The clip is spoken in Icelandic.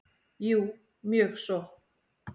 Jú, mjög svo.